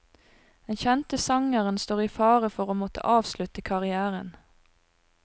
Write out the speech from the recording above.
Den kjente sangeren står i fare for å måtte avslutte karrièren.